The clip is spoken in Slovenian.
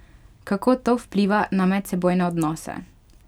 Kako to vpliva na medsebojne odnose?